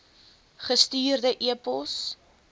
gestuurde e pos